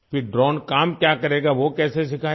फिर ड्रोन काम क्या करेगा वो कैसे सिखाया